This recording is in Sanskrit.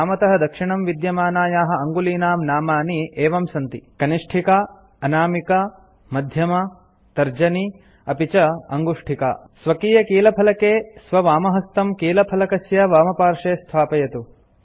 वामतः दक्षिणं विद्यमानायाः अङ्गुलीनां नामानि एवं सन्ति कनिष्ठिका अनामिका मध्यमा तर्जनी अपि च अङ्गुष्टिका स्वकीयकीलफलके स्ववामहस्तं कीलफलकस्य वामपार्श्वे स्थापयतु